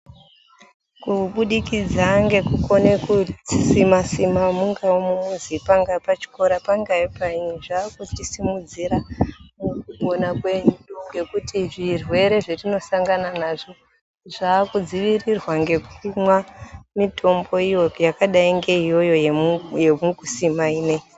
Kubudikidza ngekukone kudzisima sima, mungawe mumizi, pangaa pachikora pangaa payiini, zvakuchisimudzira mukupona kwedu ngekuti zvirwere zvetinosangana nazvo, zvakudzivirirwa ngekumwa mitombo iyo yakadai ngeiyoyo yemukusima ineiyi.